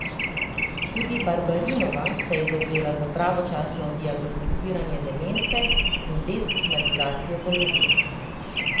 Tudi Barbarinova se je zavzela za pravočasno diagnosticiranje demence in destigmatizacijo bolezni.